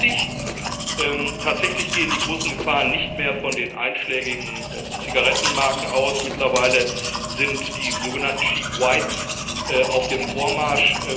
Es ist richtig Tatsächlich gehen die großen Gefahren nicht mehr von den einschlägigen Zigarettenmarken aus, sondern mittlerweile sind die sogenannten cheap whites auf dem Vormarsch.